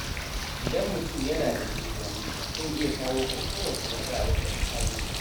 Idan mutum yana da juriya, zai iya shawo kan kowace matsala da ta same shi.